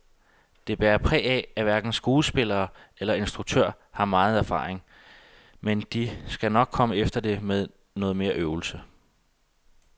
Det bærer præg af, at hverken skuespillere eller instruktør har megen erfaring, men de skal nok komme efter det med noget mere øvelse.